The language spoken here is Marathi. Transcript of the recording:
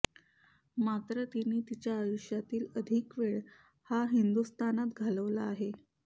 मात्र तिने तिच्या आयुष्यातील अधिक वेळ हा हिंदुस्थानात घालवला आहे